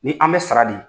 Ni an bɛ sara di